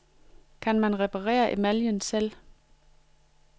Kan man reparere emaljen selv?